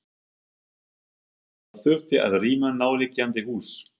Hafþór: Það þurfti að rýma nærliggjandi hús?